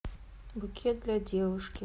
букет для девушки